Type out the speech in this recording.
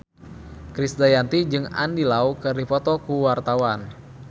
Krisdayanti jeung Andy Lau keur dipoto ku wartawan